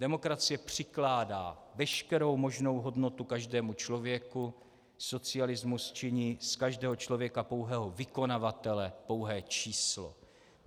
Demokracie přikládá veškerou možnou hodnotu každému člověku, socialismus činí z každého člověka pouhého vykonavatele, pouhé číslo.